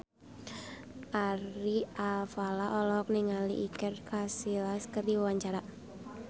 Ari Alfalah olohok ningali Iker Casillas keur diwawancara